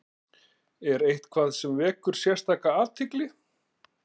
Er eitthvað sem vekur sérstaka athygli?